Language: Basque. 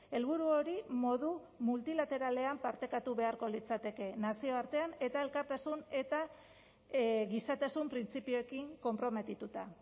helburu hori modu multilateralean partekatu beharko litzateke nazioartean eta elkartasun eta gizatasun printzipioekin konprometituta